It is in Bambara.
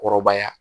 Kɔrɔbaya